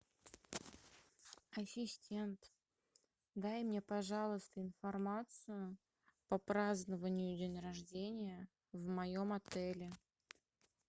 ассистент дай мне пожалуйста информацию по празднованию день рождения в моем отеле